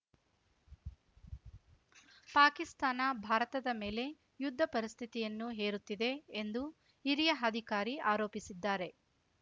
ಪಾಕಿಸ್ತಾನ ಭಾರತದ ಮೇಲೆ ಯುದ್ಧ ಪರಿಸ್ಥಿತಿಯನ್ನು ಹೇರುತ್ತಿದೆ ಎಂದು ಹಿರಿಯ ಹಧಿಕಾರಿ ಆರೋಪಿಸಿದ್ದಾರೆ